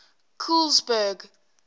colesberg